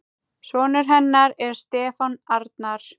Sonur hennar er Stefán Arnar.